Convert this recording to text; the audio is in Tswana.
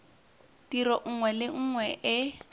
tiro nngwe le nngwe e